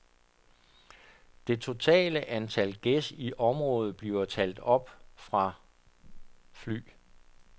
Det totale antal gæs i området bliver talt op fra fly.